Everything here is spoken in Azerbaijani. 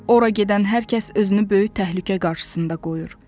Ora gedən hər kəs özünü böyük təhlükə qarşısında qoyur.